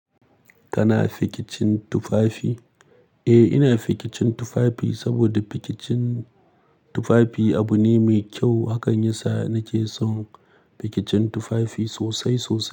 Kana fikicin tufafi? Eh, ina fikicin tufafi saboda fikicin tufafi abu ne mai kyau. Hakan yasa nake son fikicin tufafi sosai sosai.